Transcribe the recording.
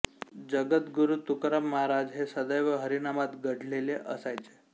जगदगुरु तुकाराम महाराज हे सदैव हरिनामात गढलेले असायचे